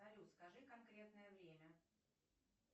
салют скажи конкретное время